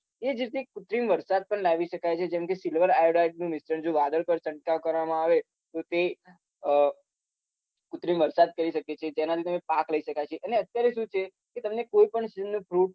એ જ રીતે કુત્રિમ વરસાદ પણ લાવી શકાય છે જેમ કે silver iodide નું મિશ્રણ જો વાદળ પર છંટકાવ કરવામાં આવે તો તે અમ કુત્રિમ વરસાદ કરી શકે છે જેનાથી તમે પાક લઇ શકાય છે અને અત્યારે શું છે કે તમને કોઈપણ season નું fruit